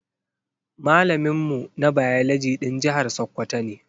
Malamin mu na biology ɗan jihar sakwwato ne